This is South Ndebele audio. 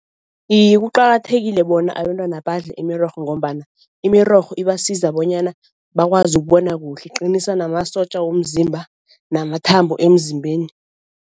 Iye kuqakathekile bona abentwana badle imirorho ngombana imirorho ibasiza bonyana bakwazi ukubona kuhle, iqinisa namasotja womzimba namathambo emzimbeni.